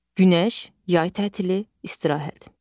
Günəş, yay tətili, istirahət.